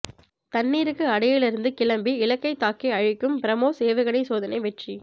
தண்ணீருக்கு அடியில் இருந்து கிளம்பி இலக்கை தாக்கி அழிக்கும் பிரமோஸ் ஏவுகணை சோதனை வெற்றி